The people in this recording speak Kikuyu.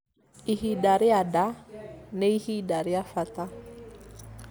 ihinda rĩa nda nĩ ihinda rĩa bata